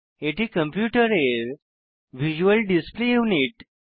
এটি কম্পিউটারের visual display unit